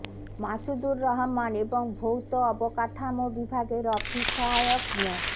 মাসুদুর রহমান এবং ভৌত অবকাঠামো বিভাগের অফিস সহায়ক মো